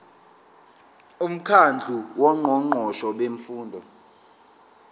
umkhandlu wongqongqoshe bemfundo